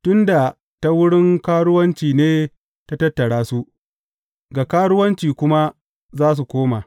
Tun da ta wurin karuwanci ne ta tattara su, ga karuwanci kuma za su koma.